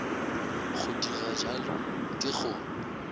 go dira bjalo ke go